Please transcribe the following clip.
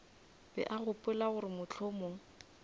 be a gopola gore mohlomong